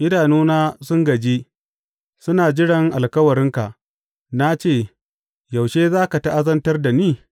Idanuna sun gaji, suna jiran alkawarinka; Na ce, Yaushe za ka ta’azantar da ni?